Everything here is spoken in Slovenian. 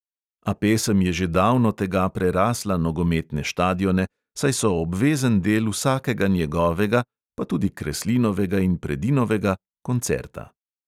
A pesem je že davno tega prerasla nogometne štadione, saj so obvezen del vsakega njegovega – pa tudi kreslinovega in predinovega – koncerta.